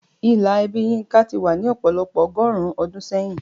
Ìlà ẹbí Yinka ti wà ní ọ̀pọ̀lọpọ̀ ọgọ́rùn-ún ọdún sẹ́yìn.